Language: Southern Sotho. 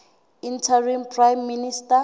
interim prime minister